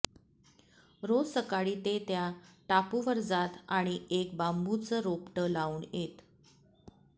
रोज सकाळी ते त्या टापूवर जात आणि एक बांबूचं रोपटं लावून येत